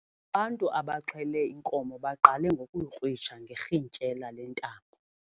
Ubantu abaxhele inkomo baqale ngokuyikrwitsha ngerhintyela lentambo.